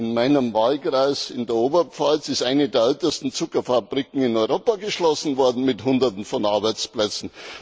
In meinem Wahlkreis in der Oberpfalz ist eine der ältesten Zuckerfabriken in Europa geschlossen worden mit Hunderten von Arbeitsplätzen.